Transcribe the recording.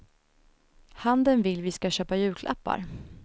Handeln vill vi ska köpa julklappar.